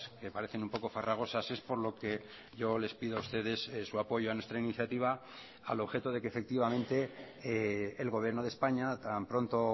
que parecen un poco farragosas es por lo que yo les pido a ustedes su apoyo a nuestra iniciativa al objeto de que efectivamente el gobierno de españa tan pronto